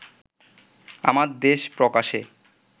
আমার দেশ প্রকাশে